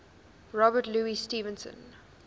robert louis stevenson